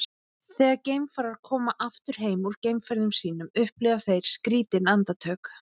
þegar geimfarar koma aftur heim úr geimferðum sínum upplifa þeir skrýtin andartök